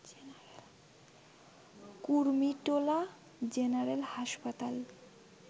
Kurmitola general হাসপাতাল